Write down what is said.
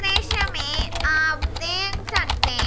दृश्य में आप देख सकते--